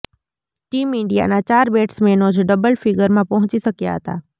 team ઈન્ડિયાના ચાર બેટ્સમેનો જ ડબલ ફિગરમાં પહોંચી શક્યા હતા